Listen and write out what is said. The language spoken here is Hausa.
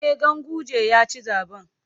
E, Ganguje ya ci zaɓen.